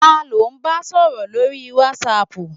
Ta ló ba sọ̀rọ̀ lórii wátísapù?